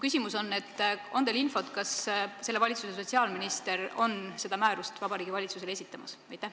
Kas teil on infot, kas selle valitsuse sotsiaalminister on seda määrust Vabariigi Valitsusele esitamas?